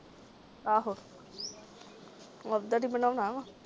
ਆਹੋ ਓਧਰ ਈ ਬਨਾਉਣਾ।